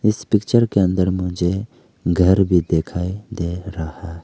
इस पिक्चर के अंदर मुझे घर भी दिखाई दे रहा--